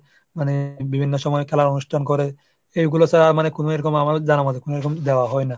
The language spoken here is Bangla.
মানে বিভিন্ন সময় খেলার অনুষ্ঠান করে। এগুলো ছাড়া মানে কোন এরকম আমাদের জানার মধ্যে এরকম যাওয়া হয় না।